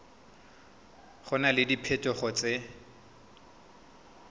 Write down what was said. go na le diphetogo tse